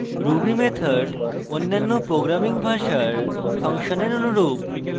ruby method অন্যান্য programming ভাষার ফাংশনের অনুরূপ